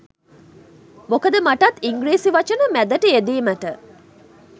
මොකද මටත් ඉංග්‍රීසි වචන මැදට යෙදීමට